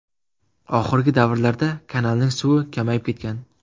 Oxirgi davrlarda kanalning suvi kamayib ketgan.